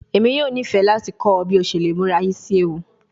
Emi yoo nifẹ lati kọ ọ bi o ṣe le mura isi ewu